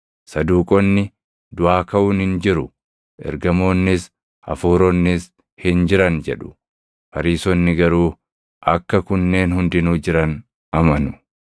Saduuqonni, “Duʼaa kaʼuun hin jiru, ergamoonnis, hafuuronnis hin jiran” jedhu; Fariisonni garuu akka kunneen hundinuu jiran amanu.